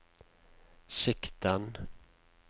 sikten